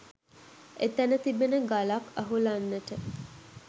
එතැන තිබෙන ගලක් අහුලන්නට